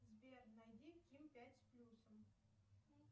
сбер найди ким пять с плюсом